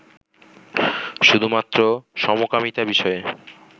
শুধু মাত্র সমকামীতা বিষয়ে